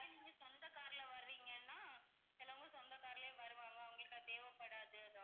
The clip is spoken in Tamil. நீங்க சொந்த car ல வர்றீங்கன்னா சிலவங்க சொந்த car லயும் வருவாங்க அவங்களுக்கு அது தேவைப்படாது.